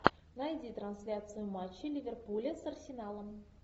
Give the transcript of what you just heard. найди трансляцию матча ливерпуля с арсеналом